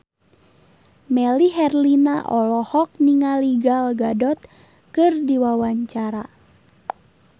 Melly Herlina olohok ningali Gal Gadot keur diwawancara